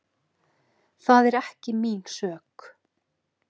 Það er ekki mín sök.